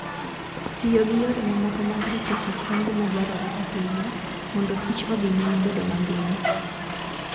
Tiyo gi yore mamoko mag ritokich en gima dwarore ahinya mondokich odhi nyime bedo mangima.